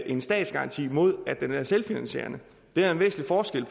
en statsgaranti mod at den er selvfinansierende der er en væsentlig forskel